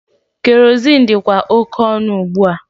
Kerozin dịkwa oke ọnụ ugbua.